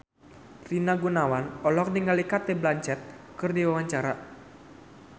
Rina Gunawan olohok ningali Cate Blanchett keur diwawancara